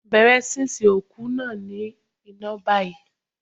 Bẹ̀rẹ̀ sísun òkú náà ní iná báyìí.